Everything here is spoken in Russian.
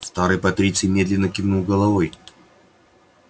старый патриций медленно кивнул головой